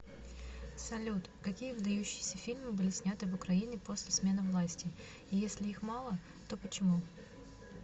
салют какие выдающиеся фильмы были сняты в украине после смены власти и если их мало то почему